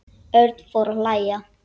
Örn fór að hlæja.